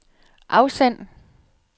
afsend